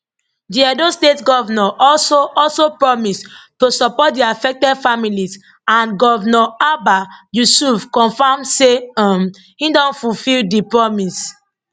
di edo state govnor also also promise to support di affected families and govnor abba yusuf confam say um e don fulfil di promise